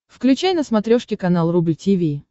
включай на смотрешке канал рубль ти ви